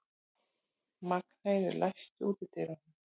Magnheiður, læstu útidyrunum.